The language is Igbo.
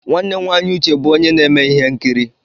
Nwanne nwaanyị Uche bụ onye na-eme ihe nkiri.